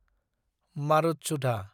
मारुतसुधा